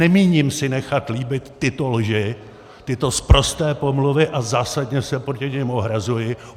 Nemíním si nechat líbit tyto lži, tyto sprosté pomluvy, a zásadně se proti nim ohrazuji.